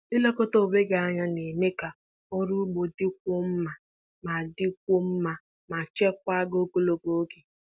Ịlekọta onwe gị na-eme ka arụmọrụ ugbo dịkwuo mma ma dịkwuo mma ma chekwaa gị ogologo oge.